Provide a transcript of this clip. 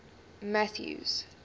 mathews